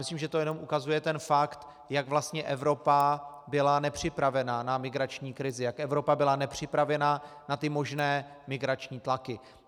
Myslím, že to jenom ukazuje ten fakt, jak vlastně Evropa byla nepřipravena na migrační krizi, jak Evropa byla nepřipravena na ty možné migrační tlaky.